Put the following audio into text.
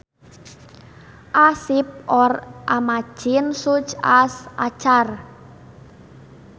A ship or a machine such as a car